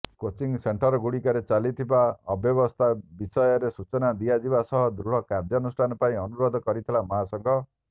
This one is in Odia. କୋଚିଂ ସେଣ୍ଟର୍ଗୁଡ଼ିକରେ ଚାଲିଥିବା ଅବ୍ୟବସ୍ଥା ବିଷୟରେ ସୂଚନା ଦିଆଯିବା ସହ ଦୃଢ଼ କାର୍ଯ୍ୟାନୁଷ୍ଠାନ ପାଇଁ ଅନୁରୋଧ କରିଥିଲା ମହାସଂଘ